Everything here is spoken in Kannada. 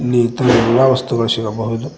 ಇಲ್ಲಿ ಇತರ ಎಲ್ಲಾ ವಸ್ತುಗಳು ಸಿಗಬಹುದು.